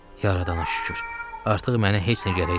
Yaradana şükür, artıq mənə heç nə gərək deyil.